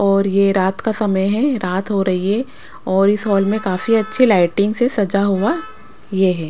और ये रात का समय है रात हो रही है और इस हॉल में काफी अच्छी लाइटिंग से सजा हुआ ये है।